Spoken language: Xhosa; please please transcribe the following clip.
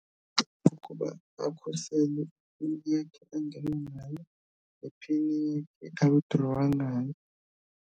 Kukuba akhusele angene ngayo nephini a-withdraw-a ngayo.